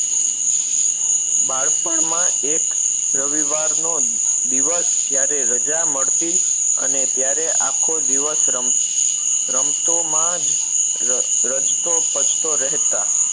બાળપણમાં એક રવિવારનો દિવસ જ્યારે રજા મળતી અને ત્યારે આખો દિવસ રમ રમતો માં જ રચતો પચતો રહેતા